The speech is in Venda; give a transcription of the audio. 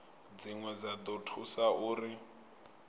dzine dza ḓo thusa uri